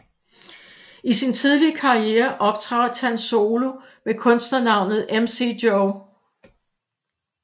I sin tidlige karriere optrådte han solo med kunstnernavnet MC Jo